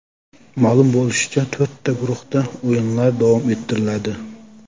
Ma’lum bo‘lishicha, to‘rtta guruhda o‘yinlar davom ettiriladi.